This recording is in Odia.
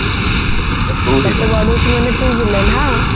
ତତେ ବାଡଉଛି ମାନେ ତୁ ଭିଲିଆନ ହଁ